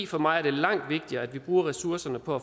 for mig er langt vigtigere at vi bruger ressourcerne på